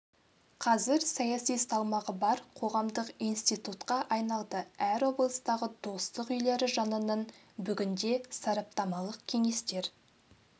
қазір саяси салмағы бар қоғамдық институтқа айналды әр облыстағы достық үйлері жанынан бүгінде сараптамалық кеңестер